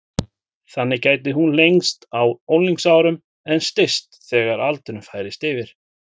Þannig gæti hún lengst á unglingsárum en styst þegar aldurinn færist yfir.